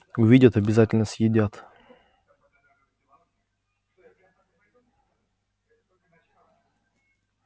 увидят обязательно съедят